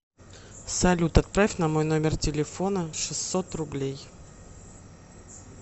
салют отправь на мой номер телефона шестьсот рублей